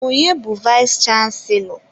Onye bu vayis chansilọ?